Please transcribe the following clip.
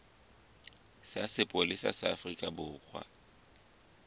sa sepolesa sa afrika borwa